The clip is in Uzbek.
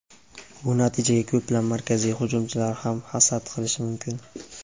Bu natijaga ko‘plab markaziy hujumchilar ham hasad qilishi mumkin.